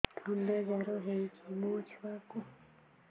ଥଣ୍ଡା ଜର ହେଇଚି ମୋ ଛୁଆକୁ